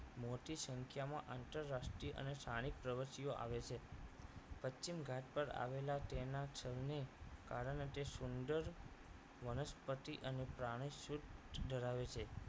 મોટી સંખ્યામાં આંતરરાષ્ટ્રીય અને સ્થાનિક પ્રવાસીઓ આવે છે પશ્ચિમ ઘાટ પર આવેલા તેના છંદને કારણે તે સુંદર વનસ્પતિ અને પ્રાણી શુદ્ધ ધરાવે છે